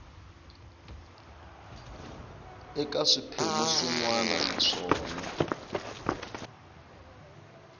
eka swiphemu swin wana naswona